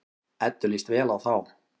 Eddu líst vel á þá.